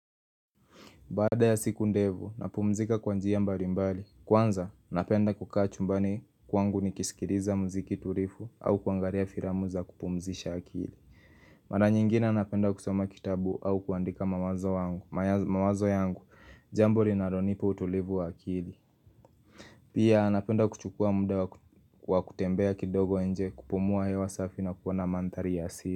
Baada ya siku ndevu, napumzika kwa njia mbali mbali, kwanza napenda kukaa chumbani kwangu nikiskiliza mziki turifu au kuangaria firamu za kupumzisha akili Mara nyingine napenda kusoma kitabu au kuandika mawazo yangu, jambo linalonipa utulivu wa akili Pia napenda kuchukua muda wa kutembea kidogo nje kupumua hewa safi na kuwa na mantari ya asili.